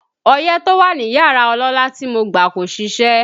Ọyẹ́ tó wà ní yàrá ọlọ́lá tí mo gbà kò ṣiṣẹ́